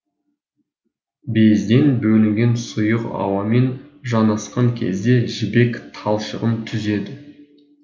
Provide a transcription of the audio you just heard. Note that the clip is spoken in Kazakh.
безден бөлінген сұйық ауамен жанасқан кезде жібек талшығын түзеді